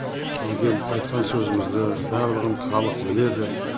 сонан кейін айтқан сөзімізді барлығын халық біледі